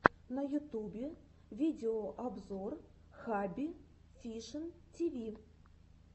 на ютубе видеообзор хабби фишин тиви